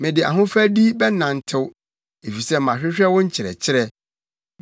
Mede ahofadi bɛnantew, efisɛ mahwehwɛ wo nkyerɛkyerɛ.